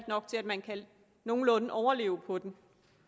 nok til at man nogenlunde kan overleve på den